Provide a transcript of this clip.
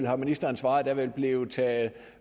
har ministeren svaret der vil blive taget